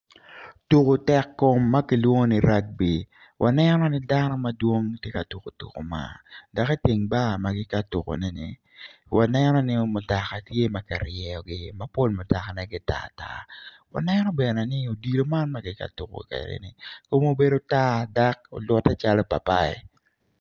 Tuku tekkom ma kilwongo ni ragbi waneno ni dano madwong ti ka tuku tuku man dok itwng bar ma giti ka tukune-ni wanenoni mutaka tye ki ryeyogi ma pol mutakane gitar tar waneno bene ni odilo man giti ka tuku kede-ni kume obedo tar dak olutte calo pai pai